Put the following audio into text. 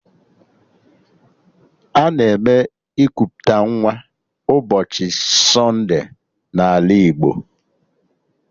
Ana eme ikuputa nwa n'ụbọchị sonde n'ala Igbo